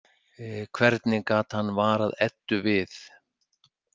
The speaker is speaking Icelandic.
Hvernig gat hann varað Eddu við?